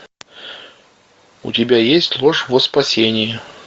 у тебя есть ложь во спасение